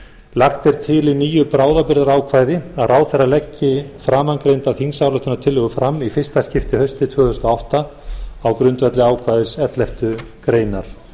lagt er til í nýju bráðabirgðaákvæði að ráðherra leggi framangreinda þingsályktunartillögu fram í fyrsta skipti haustið tvö þúsund og átta á grundvelli ákvæðis elleftu greinar